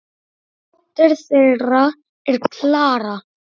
Dóttir þeirra er Klara.